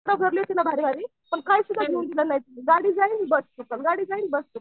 पण काही सुद्धा घेऊन दिलं नाही. गाडी जाईल बस तू पण गाडी जाईल बस तू पण